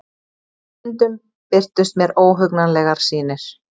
Stundum birtust mér óhugnanlegar sýnir.